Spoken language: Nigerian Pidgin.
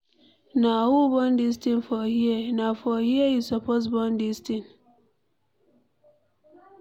Na who dey burn dis thing for here? Na for here you suppose burn dis thing?